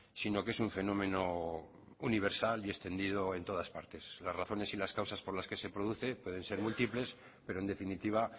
sino que es un fenómeno universal y extendido en todas partes las razones y las causas por las que se produce pueden ser múltiples pero en definitiva